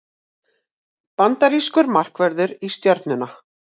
Bandarískur markvörður í Stjörnuna